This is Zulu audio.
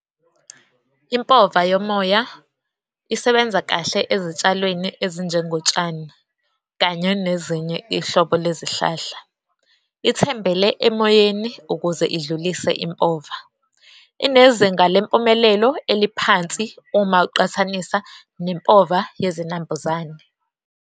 Impova yomoya isebenza kahle ezitshalweni ezinjengotshani, kanye nezinye ihlobo lezihlahla. Ithembele emoyeni ukuze idlulise impova, inezinga lempumelelo eliphansi uma uqhathanisa nempova yezinambuzane.